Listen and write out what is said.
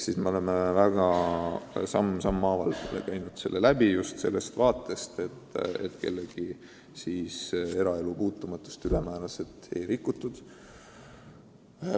Seega me oleme sammhaaval süsteemi läbi analüüsinud just sellest seisukohast, et kellegi eraelu puutumatus ei oleks ülemäära rikutud.